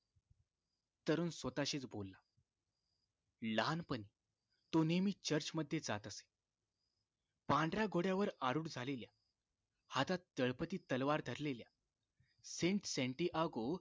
तरुण स्वतःशीच बोलला लहानपणी तो नेहमी चर्चमध्ये जात असे पांढऱ्या घोड्यावर आरूढ झालेल्या हातात तळपती तालावर धरलेल्या saint senty ago